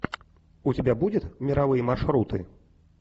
у тебя будет мировые маршруты